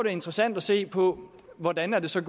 er interessant at se på hvordan det så